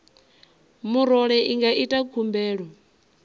murole i nga ita khumbelo